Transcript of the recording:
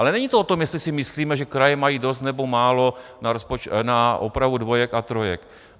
Ale není to o tom, jestli si myslíme, že kraje mají dost, nebo málo na opravu dvojek a trojek.